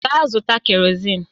Gaa zụta kerọzin!